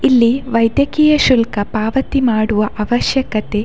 ಇಲ್ಲಿ ವೈದ್ಯಕೀಯ ಶುಲ್ಕ ಪಾವತಿ ಮಾಡುವ ಅವಶ್ಯಕತೆ --